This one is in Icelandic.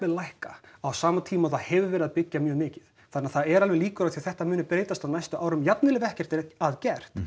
lækka á sama tíma og það hefur verið að byggja mjög mikið það eru alveg líkur á því að þetta muni breytast á næstu árum jafnvel þó ekkert sé að gert